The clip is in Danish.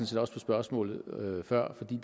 set også på spørgsmålet før fordi